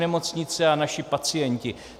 Nemocnice a naši pacienti.